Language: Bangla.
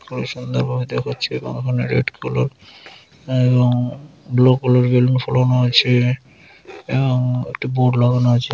খুবই সুন্দরভাবে দেখাচ্ছে এবং এখানে রেড কালার এবং ব্লু কালার বেলুন ফোলানো আছে-এ। এবং একটি বোর্ড লাগানো আছে।